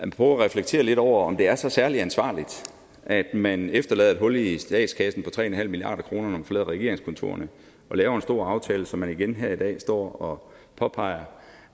prøver at reflektere lidt over om det er så særlig ansvarligt at man efterlader et hul i statskassen på tre en halv milliard kr når man forlader regeringskontorerne og laver en stor aftale som man igen her i dag står og påpeger